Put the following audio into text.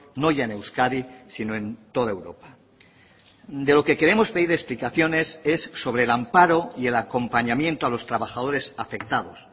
no ya en euskadi sino en toda europa de lo que queremos pedir explicaciones es sobre el amparo y el acompañamiento a los trabajadores afectados